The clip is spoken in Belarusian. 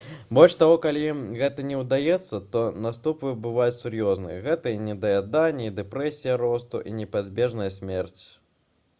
больш таго калі ім гэта не ўдаецца то наступствы бываюць сур'ёзныя гэта і недаяданне і дэпрэсія росту і непазбежная смерць